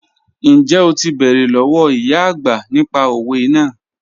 Njẹ́ o ti bẹ̀rẹ̀ lọ́wọ̀ ìyá ọagbà nípà òwẹ̀ naà?